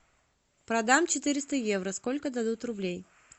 продам четыреста евро сколько дадут рублей